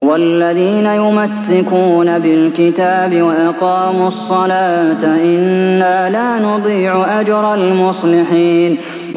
وَالَّذِينَ يُمَسِّكُونَ بِالْكِتَابِ وَأَقَامُوا الصَّلَاةَ إِنَّا لَا نُضِيعُ أَجْرَ الْمُصْلِحِينَ